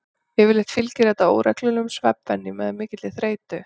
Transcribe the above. Yfirleitt fylgir þetta óreglulegum svefnvenjum eða mikilli þreytu.